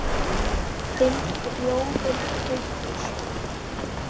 Þinn Friðjón Haukur.